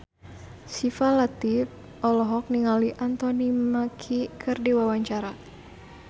Syifa Latief olohok ningali Anthony Mackie keur diwawancara